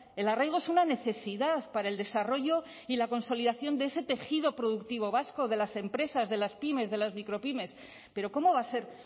el arraigo es una necesidad para el desarrollo y la consolidación de ese tejido productivo vasco de las empresas de las pymes de las micropymes pero cómo va a ser